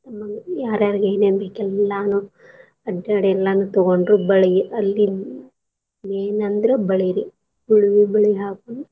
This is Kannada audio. ಆಮೇಲೆ ಯಾರ್ ಯಾರಿಗ್ ಏನೇನ್ ಬೇಕ್ ಎಲ್ಲಾನೂ ಅಡ್ಡಾಡಿ ಎಲ್ಲಾನೂ ತಗೊಂಡ್ರು ಬಳಿ ಅಲ್ಲಿ main ಅಂದ್ರ ಬಳಿ ರಿ ಉಳವಿ ಬಳಿ ಹಾಕೊಂಡ್.